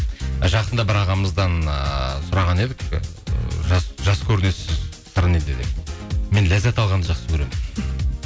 жақында бір ағамыздан ыыы сұраған едік ы жас көрінесіз сыры неде деп мен ләззат алғанды жақсы көремін